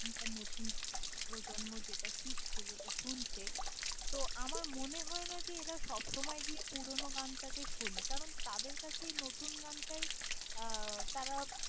এখনকার নতুন প্রজন্ম যেটা শিখছে, যেটা শুনছে তো আমার মনে হয় না যে এরা সবসময় গিয়ে পুরোনো গানটাকে শোনে কারণ, তাদের কাছে এই নতুন গানটাই আহ তারা।